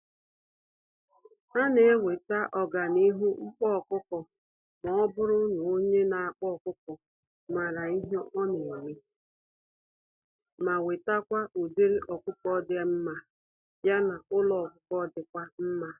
Anenweta ọganihu n'ịkpa ọkụkọ, mọbụrụ n'onye nakpa ọkụkọ màrà ihe oneme, ma wetakwa ụdịrị ọkụkọ dị mmá, ya na ụlọ ọkụkọ dịkwa mma.